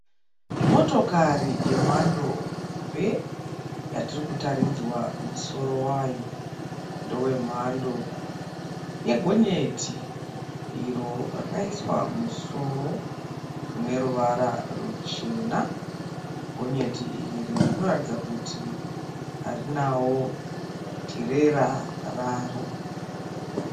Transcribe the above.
Motokori yemhando hombe yatiri kutaridzwa. Musoro wayo ndewe mamhando yegonyeti iro rakaiswa musoro une ruvara ruchena. Gonyeti iri rinotaridza kuti harinawo tirera raro.